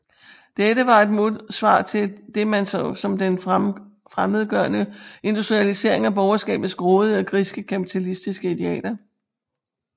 Dette var et modsvar til det man så som den fremmedgørende industrialisering og borgerskabets grådige og griske kapitalistiske idealer